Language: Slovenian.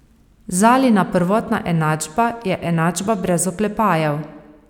Zalina prvotna enačba je enačba brez oklepajev.